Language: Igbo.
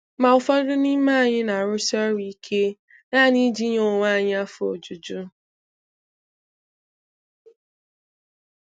Ma ụfọdụ n'ime anyị na-arusi ọrụ ike, naanị iji nye onwe anyị afọ ojuju.